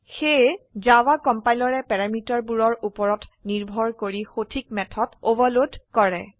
সেয়ে জাভা কম্পাইলৰে প্যাৰামিটাৰ বোৰৰ উপৰত নিৰ্ভৰ কৰি সঠিক মেথড ওভাৰলোড কৰে